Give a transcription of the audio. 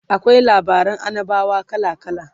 akwai labaran annabawa kala kala